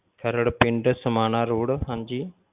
ਖਰੜ ਪਿੰਡ ਸਮਾਣਾ road ਹਾਂਜੀ